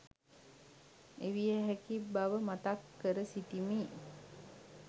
එවිය හැකි බව මතක් කර සිටිමි.